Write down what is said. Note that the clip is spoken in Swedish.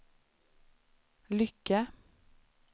Lycke